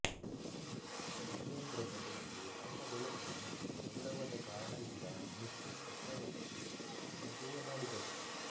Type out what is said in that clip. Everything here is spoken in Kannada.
ಧರ್ಮೇಂದ್ರದ ಬಗ್ಗೆ ತಮ್ಮ ಗೆಳೆತನ ಮತ್ತು ಗೌರವದ ಕಾರಣದಿಂದ ಮಿಥುನ್ ಚಕ್ರವರ್ತಿ ಹಾಗೆಯೇ ಮಾಡಿದರು